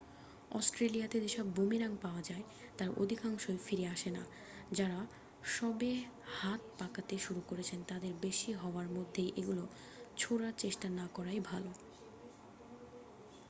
অস্ট্রেলিয়াতে যেসব বুমেরাং পাওয়া যায় তার অধিকাংশই ফিরে আসেনা যারা সবে হাত পাকাতে শুরু করেছেন তাদের বেশি হাওয়ার মধ্যে এগুলি ছোঁড়ার চেষ্টা না করাই ভালো